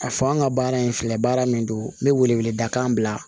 A fɔ an ka baara in filɛ baara min don n bɛ wele wele da kan bila